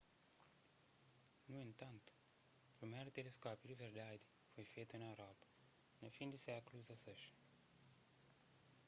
nu entantu priméru teleskópiu di verdadi foi fetu na europa na fin di sékulu xvi